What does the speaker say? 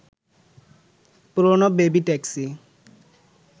পুরনো baby taxi